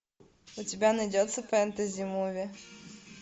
у тебя найдется фэнтези муви